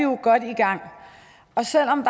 godt i gang selv om